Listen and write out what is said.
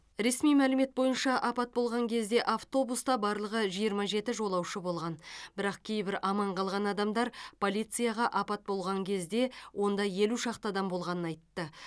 ресми мәлімет бойынша апат болған кезде автобуста барлығы жиырма жеті жолаушы болған бірақ кейбір аман қалған адамдар полицияға апат болған кезде онда елу шақты адам болғанын айтты